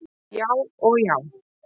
Já og já!